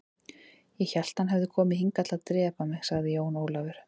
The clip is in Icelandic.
Ég hélt að hann hefði komið hingað til að drepa mig, sagði Jón Ólafur.